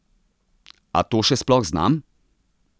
A to še sploh znam?